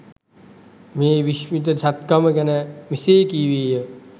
මේ විස්මිත සැත්කම ගැන මෙසේ කීවේය.